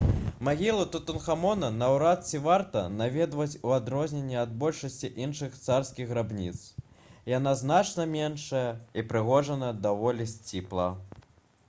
магілу тутанхамона наўрад ці варта наведваць у адрозненні ад большасці іншых царскіх грабніц яна значна меншая і ўпрыгожана даволі сціпла